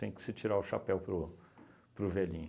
Tem que se tirar o chapéu para o para o velhinho.